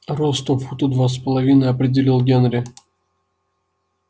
ростом фута два с половиной определил генри